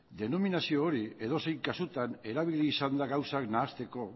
denominazio hori edozein kasutan erabili izan da gauzak nahasteko